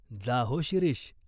जा हो शिरीष.